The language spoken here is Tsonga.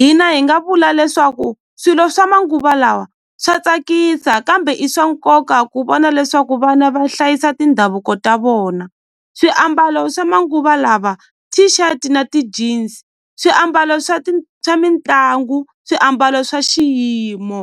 hina hi nga vula leswaku swilo swa manguva lawa swa tsakisa kambe i swa nkoka ku vona leswaku vana va hlayisa tindhavuko ta vona swiambalo swa manguva lawa t-shirt na ti-jean swiambalo swa swa mitlangu swiambalo swa xiyimo.